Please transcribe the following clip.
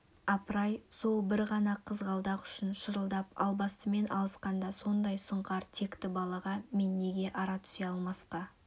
апыр-ай сол бір ғана қызғалдақ үшін шырылдап албастымен алысқанда сондай сұңқар текті балаға мен неге ара түсе алмасқа